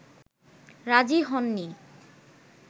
রাজী হননি